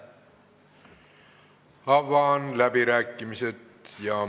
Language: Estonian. Avan läbirääkimised.